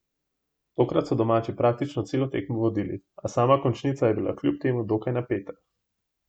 Tokrat so domači praktično celo tekmo vodili, a sama končnica je bila kljub temu dokaj napeta.